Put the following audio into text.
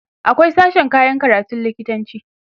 akwai sashen koyan karatun lokitanci